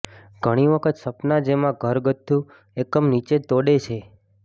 ઘણી વખત સપના જેમાં ઘરગથ્થુ એકમ નીચે તોડે છે